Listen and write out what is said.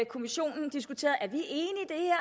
kommissionen diskuteret at